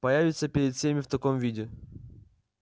появиться перед всеми в таком виде